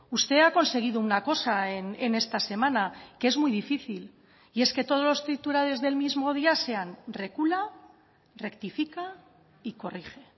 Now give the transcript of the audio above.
usted ha conseguido una cosa en esta semana que es muy difícil y es que todos los titulares del mismo día sean recula rectifica y corrige